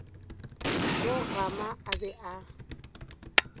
mo gama a be a